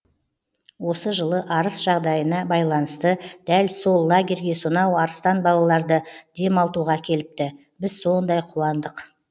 осы жылы арыс жағдайына байланысты дәл сол лагерьге сонау арыстан балаларды демалтуға әкеліпті біз сондай қуандық